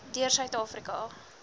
deur suid afrika